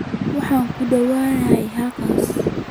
Waxaan ku dhowahay halkaas